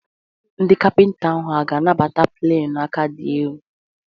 Ndị kapịnta hà ga-anabata pleni aka dị elu?